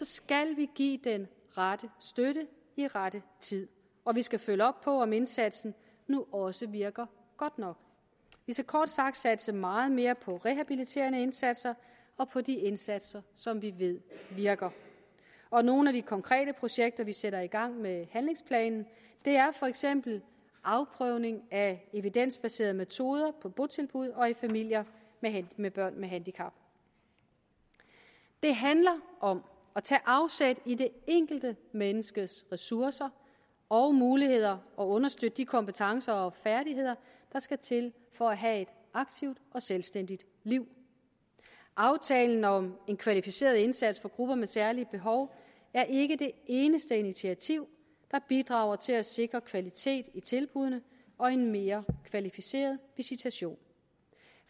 skal vi give den rette støtte i rette tid og vi skal følge op på om indsatsen nu også virker godt nok vi skal kort sagt satse meget mere på rehabiliterende indsatser og på de indsatser som vi ved virker og nogle af de konkrete projekter vi sætter i gang med handlingsplanen er for eksempel afprøvning af evidensbaserede metoder på botilbud og i familier med børn med handicap det handler om at tage afsæt i det enkelte menneskes ressourcer og muligheder og understøtte de kompetencer og færdigheder der skal til for at have et aktivt og selvstændigt liv aftalen om en kvalificeret indsats for grupper med særlige behov er ikke det eneste initiativ der bidrager til at sikre kvalitet i tilbuddene og en mere kvalificeret visitation